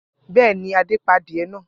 Bẹ́ẹ̀ ni, Adé pa adìẹ náà.